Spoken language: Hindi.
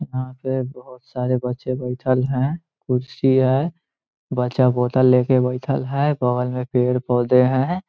यहाँ पर बहुत सारे बच्चें बैठ है कुर्सी है बच्चा बोटल लेकर बैठा है बगल में पेड़-पोधे है ।